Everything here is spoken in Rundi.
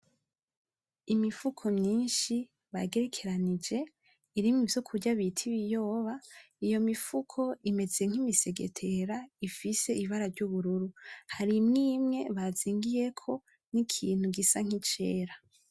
Imifuko myinshi bagerekeranije irimwo ivyo kurya bita ibiyoba iyo mifuko imeze nk'imisegetera ifise ibara ry'ubururu hari imwe imwe bazingiyeko ikintu gisa nk'icera.